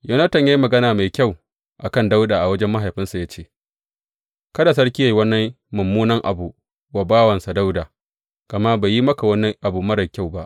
Yonatan ya yi magana mai kyau a kan Dawuda a wajen mahaifinsa ya ce, Kada sarki yă yi wani mummunan abu wa bawansa Dawuda, gama bai yi maka wani abu marar kyau ba.